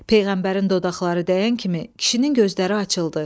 Peyğəmbərin dodaqları dəyən kimi kişinin gözləri açıldı.